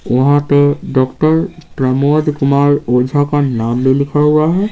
वहां पेडॉक्टर प्रमोद कुमार ओझा का नाम भी लिखा हुआ है।